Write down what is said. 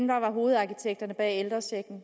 der var hovedarkitekterne bag ældrechecken